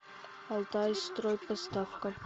алтайстройпоставка